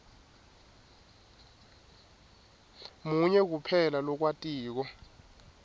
munye kuphela lowatiko